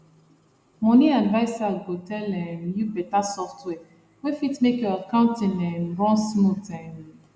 money adviser go tell um you better software wey fit make your accounting um run smooth um